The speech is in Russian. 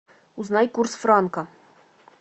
узнай курс франка